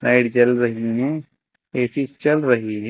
Light जल रही हैं ए_सी चल रही हैं।